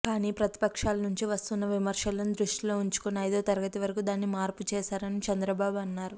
కానీ ప్రతిపక్షాల నుంచి వస్తున్న విమర్శలను దృష్టిలో ఉంచుకుని ఐదో తరగతి వరకు దాన్ని మార్పు చేశారని చంద్రబాబు అన్నారు